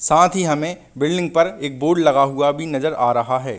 साथ ही हमें बिल्डिंग पर एक बोर्ड लगा हुआ भी नजर आ रहा है।